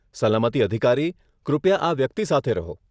સલામતી અધિકારી, કૃપયા આ વ્યક્તિ સાથે રહો.